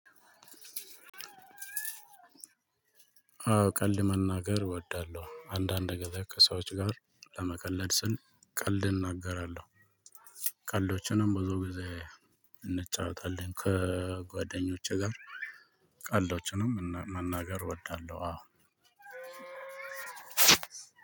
አዎ ቀልድ መናገር እወዳለሁ አንዳንድ ጊዜ ከሰዎች ጋር ለመቀለድ ስል ቀልድ እናገራለሁ። ቀልዶችንም ብዙ ጊዜ እንጫወታለን ከጓደኞቼ ጋር ቀልዶችንም መናገር እወዳለሁ። አዎ